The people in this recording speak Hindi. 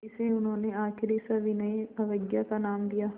इसे उन्होंने आख़िरी सविनय अवज्ञा का नाम दिया